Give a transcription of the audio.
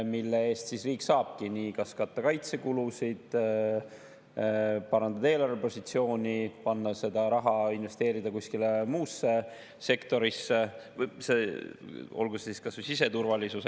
Selle eest riik saabki kas katta kaitsekulusid, parandada eelarvepositsiooni, investeerida seda raha kuskile muusse sektorisse, olgu see siis kas või siseturvalisus.